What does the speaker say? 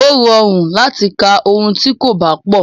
Ó rọrùn láti ka ohun tí kò bá pọ̀.